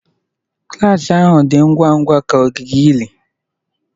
Klas ahụ dị ngwa ngwa ka ogige ili.